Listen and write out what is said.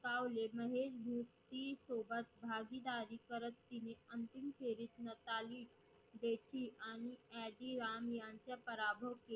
पटकावले महेश भूपती सोबत भागीदारी करत तिने अंतिम फेरी मिताली बेती आणि अजिराम यांचा पराभव केला.